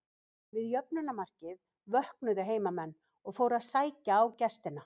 Við jöfnunarmarkið vöknuðu heimamenn og fóru að sækja á gestina.